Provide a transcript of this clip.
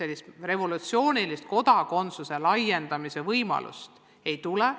Mingit revolutsioonilist kodakondsuse andmise laiendamise võimalust ei tule.